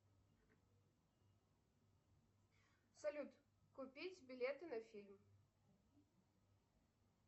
салют купить билеты на фильм